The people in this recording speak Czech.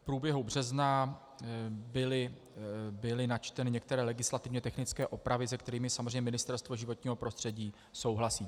V průběhu března byly načteny některé legislativně technické opravy, se kterými samozřejmě Ministerstvo životního prostředí souhlasí.